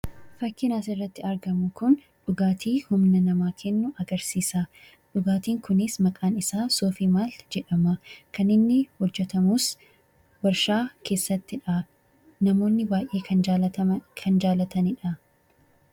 Fakkiin asirratti argamu kun dhugaatii humna namaa kennu agarsiisa. Dhugaatiin kunis maqaan isaa "Sofi Mali" jedhama. Kan inni hojjetamus warshaa keessattidha. Namoonni baay'een kan jaalataniidha.